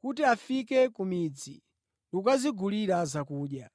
kuti afike ku midzi ndi kukadzigulira zakudya.”